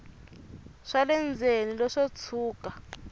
swa le ndzeni leswo tshuka